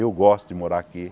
Eu gosto de morar aqui.